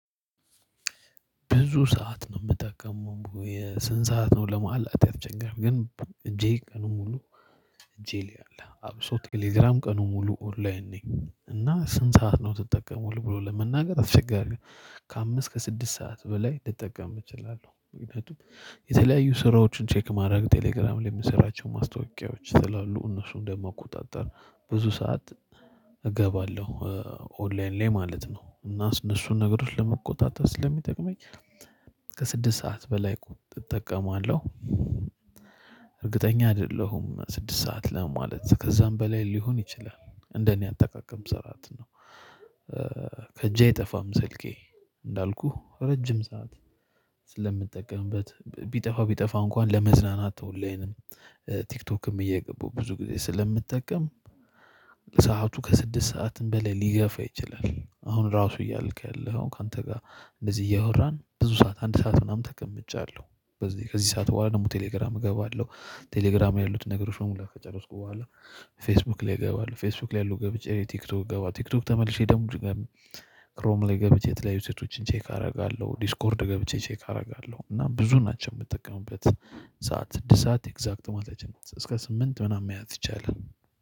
ብዙ ሰዓት ነው የምጠቀመው የስንት ሰዓት ነው ለማለት ያስቸግራል ግን እጄ ቀኑን ሙሉ እጄ ላይ አለ አብሶ ቴሌግራም ቀኑን ሙሉ ኦንላይን ነኝ እና ስንት ሰዓት ነው ትጠቀማለህ ብሎ ለመናገር አትቸጋሪ ነው። ከአምስት ከስድስት ሰዓት በላይ ልጠቀምበት እችላለሁ። የተለያዩ ስራዎችን ቼክ ማድረግ ቴሌግራም ለሚሰራቸው ማስታወቂያዎች ስላሉ እነሱን እንደማቆጣጠር ብዙ ሰዓት እገባለሁ ኦንላይን ላይ ማለት ነው። እና እነሱን ነገሮች ለመቆጣጠር ስለሚጠቅመኝ ከስድስት ሰዓት በላይ እጠቀማለሁ። እርግጠኛ አይደለሁም ስድስት ሰዓት ለማለት ከዛም በላይ ሊሆን ይችላል እንደኔ አጠቃቀም ስራት ነው። ከእጄ አይጠፋም ስልኬ እንዳልኩህ ረጅም ሰዓት ስለምጠቀምበት ቢጠፋ ቢጠፋ እንኳን ለመዝናናት ኦንላይንም ቲክቶክም እየገባው ብዙ ጊዜ ስለምጠቀም ሰዓቱ ከስድስት ሰዓትም በሌላ ሊገፋ ይችላል። አሁን ራሱ እያልክ ያለኸው ካንተ ጋር እንደዚህ እያወራን ብዙ ሰዓት አንድ ሰዓት ምናምን ተቀምጫለሁ በዚህ ከዚህ ሰዓት በኋላ ደግሞ ቴሌግራም እገባለሁ። ቴሌግራም ያሉትን ነገር በሙላ ከጨረስኩ በኋላ ፌስቡክ ላይ እገባለሁ ፌስቡክ ላይ ያሉ ገብቼ እኔ ቲክቶክ እገባ ቲክቶክ ተመልሼ ደግሞ ድጋሜ ክሮም ላይ ገብቼ የተለያዩ ሴቶችን ቼክ አደርጋለሁ። ዲስኮርድ ገብቼ ቼክ አደርጋለሁ። እና ብዙ ናቸው የምጠቀምበት ሰዓት ስድስት ሰዓት ኤግዛክት ማለት አይቻልም እስከ ስምንት ምናምን መያዝ ይቻላል።